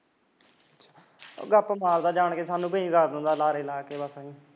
ਗੱਪ ਮਾਰਦਾ ਐ ਜਾਣ ਕੇ ਸਾਨੂੰ ਭੇਜ ਦਿੰਦਾ ਬਸ ਲਾਅਰੇ ਲਾ ਕੇ